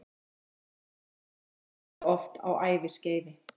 Liturinn breytist margoft á æviskeiði.